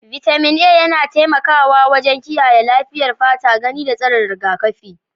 Vitamin A yana taimakawa wajen kiyaye lafiyar fata, gani, da tsarin rigakafi.